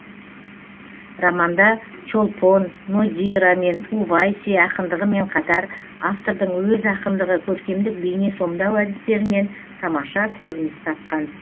романда чолпон нодира мен увайси ақындығымен қатар автордың өз ақындығы көркемдік бейне сомдау әдістерінен тамаша көрініс тапқан